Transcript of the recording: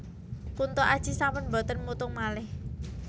Kunto Aji sampun mboten mutung malih